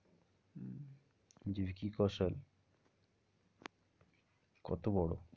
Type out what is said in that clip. ভিকি কৌশল কত বড়ো?